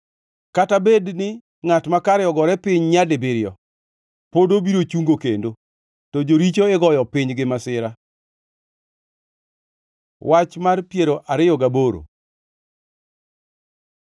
kata bedni ngʼat makare ogore piny nyadibiriyo, pod obiro chungo kendo; to joricho igoyo piny gi masira. Wach mar piero ariyo gaboro